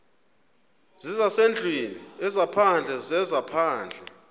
zezasendlwini ezaphandle zezaphandle